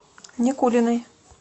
никулиной